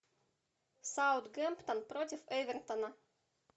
саутгемптон против эвертона